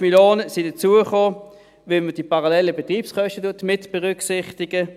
20 Mio. Franken sind hinzugekommen, weil man die parallelen Betriebskosten mitberücksichtigt.